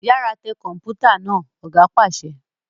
Yàrá tẹ Kọ̀npútà náà! Ọ̀gá pàṣẹ.